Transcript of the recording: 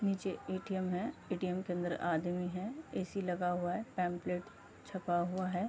नीचे ए.टी.एम है। ए.टी.एम के अंदर आदमी है। ऐसी लगा हुआ है। पम्पलेट छपा हुआ है।